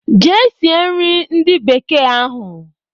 Jee sie nri ndị bekee ahụ!